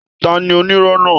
Tani onírọ́ náà?